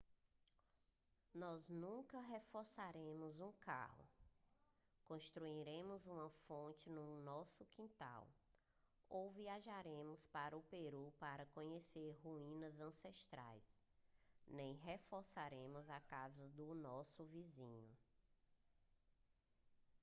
nós nunca reformaremos um carro construiremos uma fonte no nosso quintal ou viajaremos para o peru para conhecer ruínas ancestrais nem reformaremos a casa do nosso vizinho